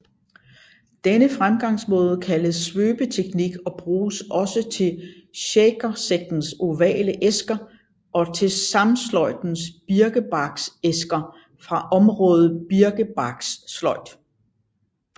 Denne fremgangsmåde kaldes svøbeteknik og bruges også til shakersektens ovale æsker og til samesløjdens birkebarksæsker fra området birkebarkssløjd